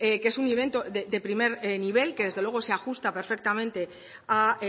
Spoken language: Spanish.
que es un evento de primer nivel que desde luego se ajusta perfectamente a